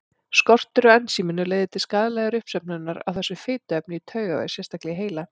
Skortur á ensíminu leiðir til skaðlegrar uppsöfnunar á þessu fituefni í taugavef, sérstaklega í heila.